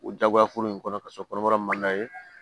O jagoya foro in kɔnɔ ka sɔrɔ kɔnɔbara ma ye